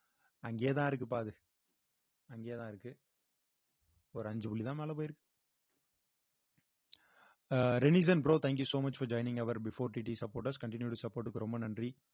அங்கேயேதான் இருக்குப்பா அது அங்கேயேதான் இருக்கு ஒரு அஞ்சுகுள்ள தான் மேல போயிருக்கு அஹ் bro thank you so much for joining our before DD supporters continued support க்கு ரொம்ப நன்றி